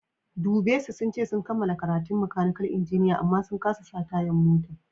Dubbe su, sun ce sun kamala karatun makanikal injiniya amma sun kasa sa tayan mota.